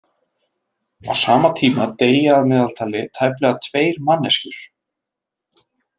Á sama tíma deyja að meðaltali tæplega tveir manneskjur.